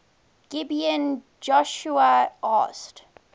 gibeon joshua asked